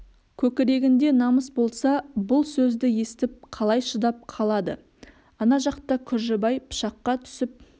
көкірегінде намыс болса бұл сөзді естіп қалай шыдап қалады ана жақта күржібай пышаққа түсіп